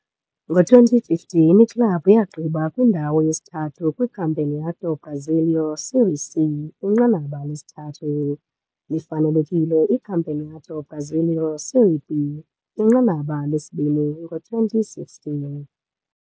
Kwi-2015 iklabhu yagqiba i-3rd kwiCampeonato Brasileiro - Série C, inqanaba lesithathu, lifanelekile iCampeonato Brasileiro - Série B, inqanaba lesibini, kwi-2016.